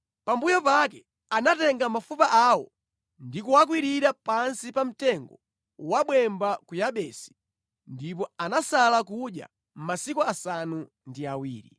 Pambuyo pake anatenga mafupa awo ndi kuwakwirira pansi pa mtengo wabwemba ku Yabesi, ndipo anasala kudya masiku asanu ndi awiri.